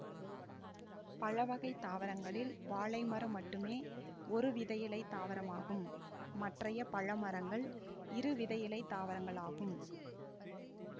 பழ வகை தாவரங்களில் வாழைமரம் மட்டுமே ஒருவிதையிலைத் தாவரமாகும் மற்றைய பழமரங்கள் இருவிதையிலைத்தாவரங்களாகும்